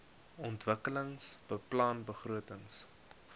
ontwikkelingsbeplanningbegrotings